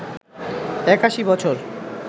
৮১ বছর